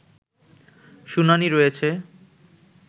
শুনানি রয়েছে